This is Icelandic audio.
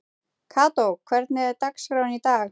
Kató, hvernig er dagskráin í dag?